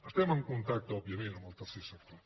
estem en contacte òbviament amb el tercer sector